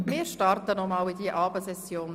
Wir starten noch einmal in diese Abendsession.